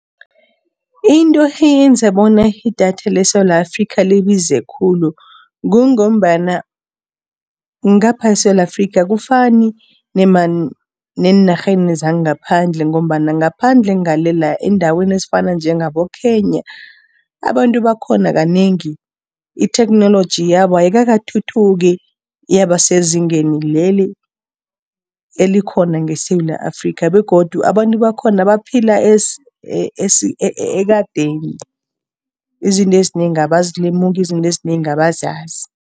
Into eyenza bona idatha leSewula Afrikha libize khulu, kungombana ngapha eSewula Afrikha akufani neenarheni zangaphandle. Ngombana ngaphandle ngale la, eendaweni ezifana njengaboKenya, abantu bakhona kanengi, itheknoloji yabo ayikakathuthuki yaba sezingeni leli elikhona ngeSewula Afrikha. Begodu abantu bakhona baphila ekadeni, izinto ezinengi abazilemuki, izinto ezinengi abazazi.